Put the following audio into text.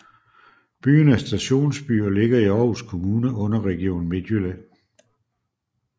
Byen er stationsby og ligger i Aarhus Kommune under Region Midtjylland